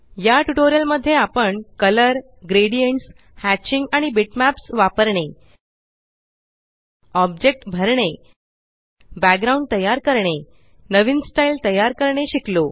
या ट्यूटोरियल मध्ये आपण कलर ग्रेडियंट्स हॅचिंग आणि बिटमॅप्स वापरणे ऑब्जेक्ट भरणे backgroundतयार करणे नवीन स्टाइल तयार करणे शिकलो